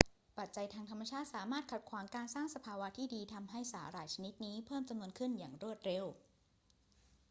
ปัจจัยทางธรรมชาติสามารถขัดขวางการสร้างสภาวะที่ดี ทำให้สาหร่ายชนิดนี้เพิ่มจำนวนขี้นอย่างรวดเร็ว